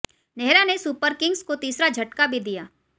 नेहरा ने Super Kings को तीसरा झटका भी दिया